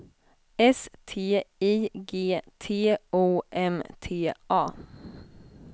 S T I G T O M T A